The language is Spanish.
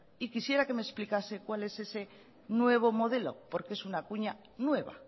y quisiera que me explicase cuál es ese nuevo modelo porque es una cuña nueva